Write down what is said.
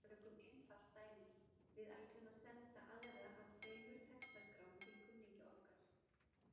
Tökum einfalt dæmi: Við ætlum að senda aðra af tveimur textaskrám til kunningja okkar.